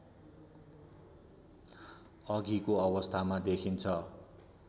अघिको अवस्थामा देखिन्छ